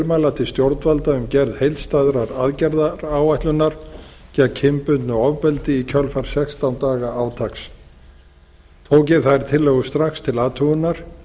tilmæla til stjórnvalda um gerð heildstæðrar aðgerðaáætlunar gegn kynbundnu ofbeldi í kjölfar sextán daga átaks tók ég þær tillögur strax til athugunar